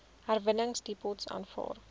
herwinningsdepots aanvaar